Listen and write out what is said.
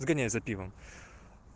сгоняй за пивом